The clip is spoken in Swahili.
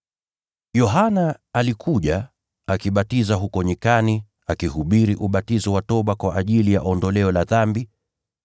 Yohana alikuja, akibatiza huko nyikani, akihubiri ubatizo wa toba kwa ajili ya msamaha wa dhambi.